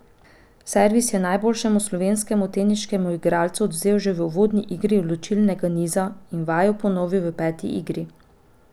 Servis je najboljšemu slovenskemu teniškemu igralcu odvzel že v uvodni igri odločilnega niza in vajo ponovil v peti igri.